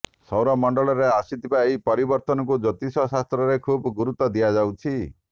ସୌରମଣ୍ଡଳରେ ଆସିଥିବା ଏହି ପରିବର୍ତ୍ତନକୁ ଜ୍ୟୋତିଷଶାସ୍ତ୍ରରେ ଖୁବ୍ ଗୁରୁତ୍ୱ ଦିଆଯାଇଛି